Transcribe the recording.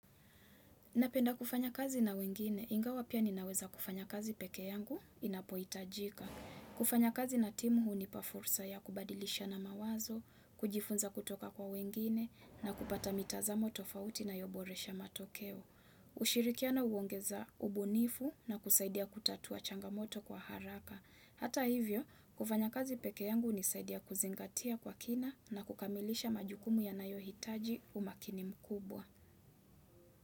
Napenda kufanya kazi na wengine, ingawa pia ninaweza kufanya kazi peke yangu, inapoitajika. Kufanya kazi na timu hunipa fursa ya kubadilishana mawazo, kujifunza kutoka kwa wengine, na kupata mitazamo tofauti na ya uboresha matokeo. Ushirikiano huongeza ubunifu na kusaidia kutatua changamoto kwa haraka. Hata hivyo, kufanya kazi pekee yangu hunisaidia kuzingatia kwa kina na kukamilisha majukumu yanayo hitaji umakini mkubwa.